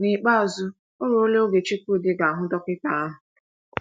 N’ikpeazụ o ruola oge Chukwudi ga - ahụ dọkịta ahụ.